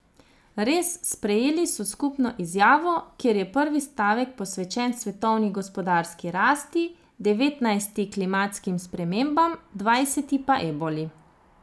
Res, sprejeli so skupno izjavo, kjer je prvi stavek posvečen svetovni gospodarski rasti, devetnajsti klimatskim spremembam, dvajseti pa eboli.